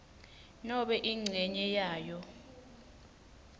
nobe incenye yayo